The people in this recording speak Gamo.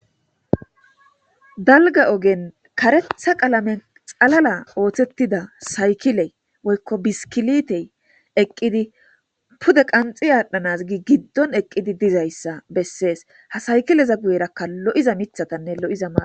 dalga ogen karetha qalame xalala ooththettida saykile woykko biskilitey eqqidi pude qanxi aadhdhanaz gi giddon eqqidi dizayssa bessees ha saykileza guyerakka lo7iza mithatanne lo7iza maatati beetetes